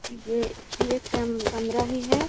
ये ये केम कमरा मे है।